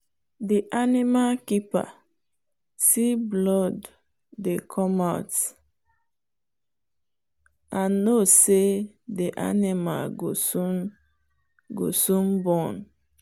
the animal keeper see blood dey come out and know say the animal go soon go soon born.